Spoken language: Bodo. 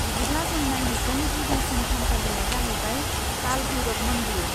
बिदिब्ला जों नायहैगोन गिबिसिन थानसालिया जाहैबाय काल भैरब मानदिर।